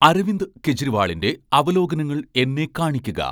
അരവിന്ദ് കെജ്‌രിവാളിന്റെ അവലോകനങ്ങൾ എന്നെ കാണിക്കുക